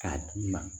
K'a d'i ma